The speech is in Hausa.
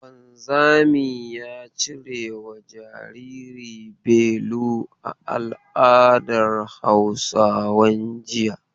Wanzami ya cirewa jariri belu a al'adar Hausawan jiya.